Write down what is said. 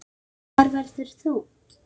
Hvar verður þú?